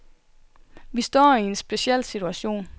Vi står i en speciel situation.